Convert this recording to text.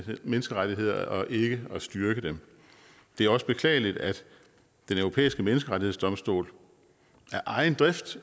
menneskerettigheder og ikke at styrke dem det er også beklageligt at den europæiske menneskerettighedsdomstol af egen drift